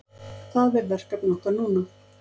Það er verkefni okkar núna